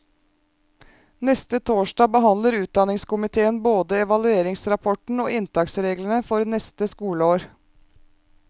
Neste torsdag behandler utdannelseskomitéen både evalueringsrapporten og inntaksreglene for neste skoleår.